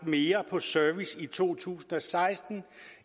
mere på service i to tusind og seksten